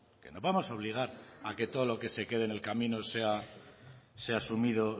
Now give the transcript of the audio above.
que no vamos a obligar a que todo lo que se quede en el camino sea asumido